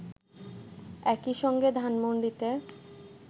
একইসঙ্গে ধানমন্ডিতে